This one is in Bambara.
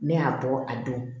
Ne y'a bɔ a don